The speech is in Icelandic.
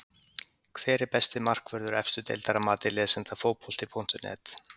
Hver er besti markvörður efstu deildar að mati lesenda Fótbolti.net?